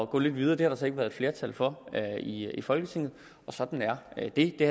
gå lidt videre det har der så ikke været flertal for i i folketinget og sådan er det det